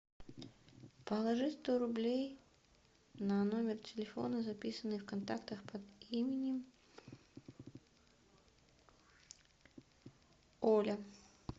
положи сто рублей на номер телефона записанный в контактах под именем оля